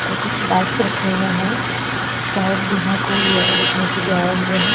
और कुछ बैग्स रखे हुए है शायद यहा कोई रुकने के लिए आया हुआ है।